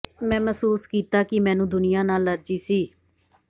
ਮੈਂ ਮਹਿਸੂਸ ਕੀਤਾ ਕਿ ਮੈਨੂੰ ਦੁਨੀਆ ਨਾਲ ਅਲਰਜੀ ਸੀ